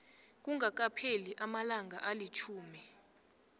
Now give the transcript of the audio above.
kungakapheli amalanga alitjhumi